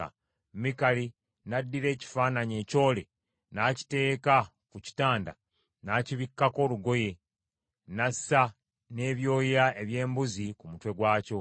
Mikali n’addira ekifaananyi ekyole n’akiteeka ku kitanda, n’akibikkako olugoye, n’assa n’ebyoya eby’embuzi ku mutwe gwakyo.